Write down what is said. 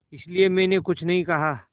इसलिए मैंने कुछ नहीं कहा